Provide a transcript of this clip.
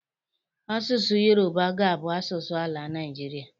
Asụsụ Yoruba ga-abụ asụsụ ala Naịjirịa.